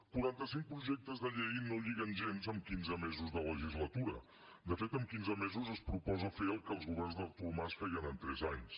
quarantacinc projectes de llei no lliguen gens amb quinze mesos de legislatura de fet en quinze mesos es proposa fer el que els governs d’artur mas feien en tres anys